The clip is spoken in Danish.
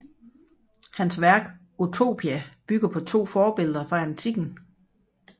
Hans værk Utopia bygger på to forbilleder fra antikken